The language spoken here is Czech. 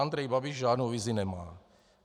Andrej Babiš žádnou vizi nemá.